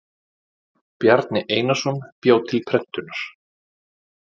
Bjarni Einarsson bjó til prentunar.